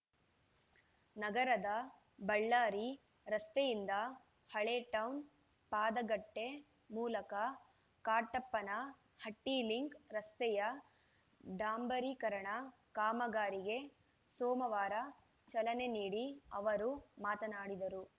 ನಗರದ ಬಳ್ಳಾರಿ ರಸ್ತೆಯಿಂದ ಹಳೇಟೌನ್‌ ಪಾದಗಟ್ಟೆಮೂಲಕ ಕಾಟಪ್ಪನಹಟ್ಟಿಲಿಂಕ್‌ ರಸ್ತೆಯ ಡಾಂಬರೀಕರಣ ಕಾಮಗಾರಿಗೆ ಸೋಮವಾರ ಚಲನೆ ನೀಡಿ ಅವರು ಮಾತನಾಡಿದರು